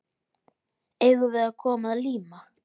Eigum við að koma að líma?